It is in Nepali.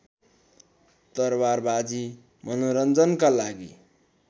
तरवारबाजी मनोरञ्जनका लागि